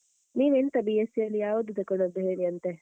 ನೀವೆಂತ B.sc ಯಲ್ಲಿ ಯಾವ್ದು ತಗೊಂಡದ್ದು ಹೇಳಿಯಂತೆ?